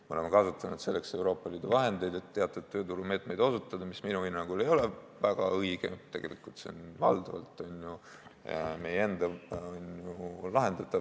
Me oleme kasutanud selleks Euroopa Liidu vahendeid, et teatud tööturumeetmeid osutada, mis minu hinnangul ei ole väga õige, tegelikult on need probleemid valdavalt meie enda lahendatavad.